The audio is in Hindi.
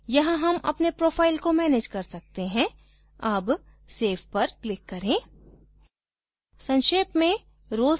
बुनियादी तौर पर यहाँ हम अपने profile को manage कर सकते हैं अब save पर click करें